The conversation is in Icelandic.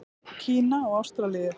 Kína og Ástralíu.